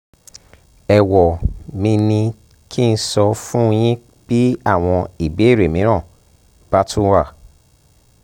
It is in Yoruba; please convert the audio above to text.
ẹ̀wọ́ mi ní kí n sọ̀ fún yín bí àwọn ìbéèrè mìíràn bá tún wà